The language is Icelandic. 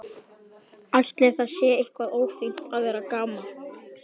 Ætli það sé eitthvað ófínt að vera gamall?